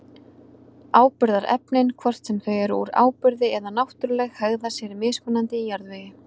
Áburðarefnin, hvort sem þau eru úr áburði eða náttúruleg, hegða sér mismunandi í jarðvegi.